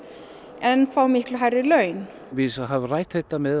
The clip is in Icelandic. en fá miklu hærri laun við höfum rætt þetta með